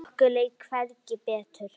Okkur leið hvergi betur.